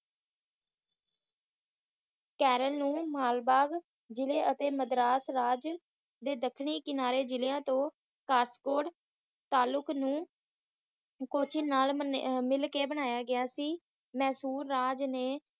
ਕੇਰਲ ਨੂੰ ਮਾਲਬਾਗ ਜਿਲ੍ਹੇ ਅਤੇ ਮਦਰਾਸ ਰਾਜ ਦੇ ਦੱਖਣੀ ਕਿਨਾਰੇ ਜਿਲਯਾ ਤੋਂ ਸਟਕੋਰਤ ਤਾਲੁਕ ਨੂੰ ਕੋਚੀ ਨਾਲ ਮਿਲ ਕੇ ਬਣਇਆ ਗਿਆ ਸੀ ਮਹਿਸੂਰ ਰਾਜ ਨੇ